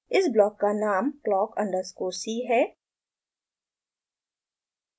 इस ब्लॉक का नाम clock underscore c है